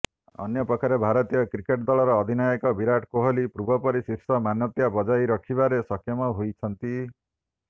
ଅନ୍ୟପକ୍ଷରେ ଭାରତୀୟ କ୍ରିକେଟ୍ ଦଳର ଅଧିନାୟକ ବିରାଟ କୋହଲି ପୂର୍ବପରି ଶୀର୍ଷ ମାନ୍ୟତା ବଜାୟ ରଖିବାରେ ସକ୍ଷମ ହୋଇଛନ୍ତି